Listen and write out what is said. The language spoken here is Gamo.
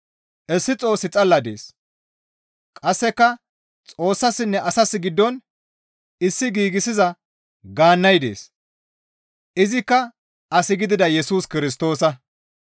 Issi Xoossi xalla dees; qasseka Xoossassinne asas giddon issi giigsiza gaannay dees; izikka as gidida Yesus Kirstoosa.